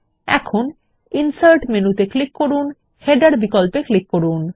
এখন ইনসার্ট মেনুতে ক্লিক করুন এবং তারপর হেডার বিকল্পে ক্লিক করুন